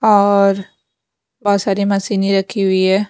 और बहोत सारी मशीनें रखी हुई है।